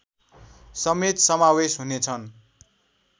समेत समावेश हुनेछन्